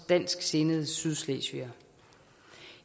dansksindede sydslesvigere